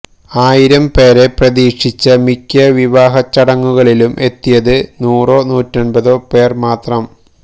ആയിരം പേരെ പ്രതീക്ഷിച്ച മിക്ക വിവാഹച്ചടങ്ങുകളിലും എത്തിയത് നൂറോ നൂറ്റന്പതോ പേർ മാത്രം